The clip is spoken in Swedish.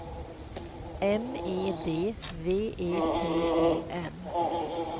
M E D V E T E N